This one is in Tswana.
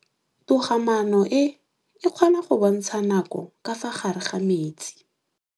Toga-maanô e, e kgona go bontsha nakô ka fa gare ga metsi.